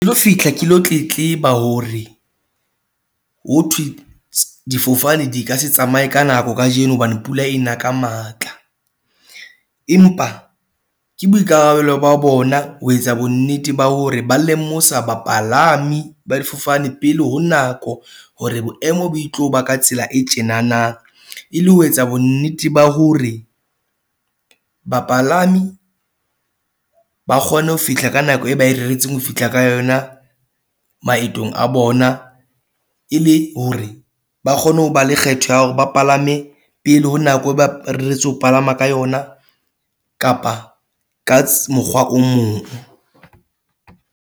fihla ke lo tletleba hore ho thwe difofane di ka se tsamaye ka nako kajeno hobane pula e na ka matla. Empa ke boikarabelo ba bona ho etsa bonnete ba hore ba lemosa bapalami ba difofane pele ho nako, hore boemo bo e tlo ba ka tsela e tjena na. E le ho etsa bonnete ba hore bapalami ba kgone ho fihla ka nako e ba e reretseng ho fihla ka yona maetong a bona. E le hore ba kgone ho ba le kgetho ya hore ba palame pele ho nako eo, ba reretsweng ho palama ka yona kapa ka mokgwa o mong.